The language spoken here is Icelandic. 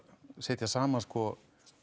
að setja saman sko